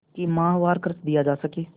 कि माहवार खर्च दिया जा सके